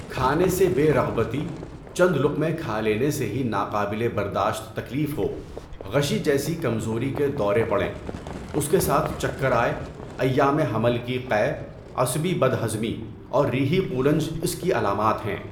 کھانے سے بے رغبتی، چند لقمے کھا لینے سے ہی ناقابل برداشت تکلیف ہو، غشی جیسی کمزوری کے دورے پڑیں، اس کے ساتھ چکر آئے، ایام حمل کی قے، عصبی بدہضمی اور ریحی قولنج اس کی علامات ہیں۔